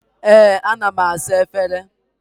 Ee, ana m asa efere.